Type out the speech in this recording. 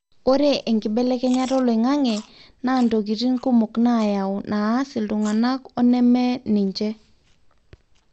ore enkibelekenyata oloingange naa ntokitin kumok nayaau naas iltungana o neme ninche